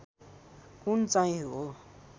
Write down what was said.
कुन चाहिँ हो